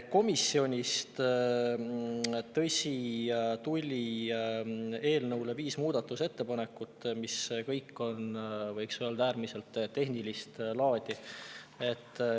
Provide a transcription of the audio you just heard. Komisjonist, tõsi, tuli eelnõu kohta viis muudatusettepanekut, mis kõik on, võiks öelda, äärmiselt tehnilist laadi.